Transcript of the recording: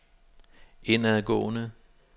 indadgående